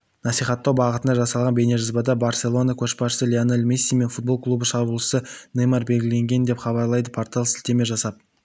насихаттау бағытында жасалған бейнежазбада барселона көшбасшысы лионель месси мен футбол клубының шабуылшысы неймар белгіленген деп хабарлайды порталына сілтеме жасап